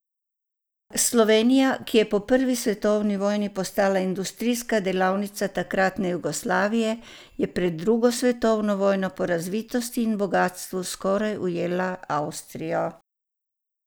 Slovenija, ki je po prvi svetovni vojni postala industrijska delavnica takratne Jugoslavije, je pred drugo svetovno vojno po razvitosti in bogastvu skoraj ujela Avstrijo.